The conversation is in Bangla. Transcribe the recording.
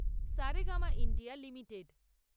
Saregama India limited